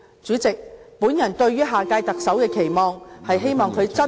主席，我對於下屆特首的期望......